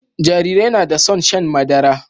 Jarirai na da son shan madara